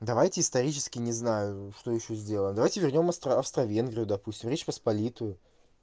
давайте исторически не знаю что ещё сделаем давайте вернём австро-венгрию допустим речь посполитую